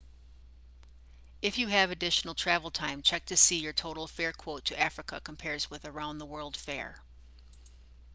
if you have additional travel time check to see how your total fare quote to africa compares with a round-the-world fare